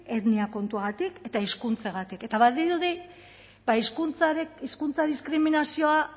etnia kontuagatik eta hizkuntzagatik eta badirudi ba hizkuntza diskriminazioa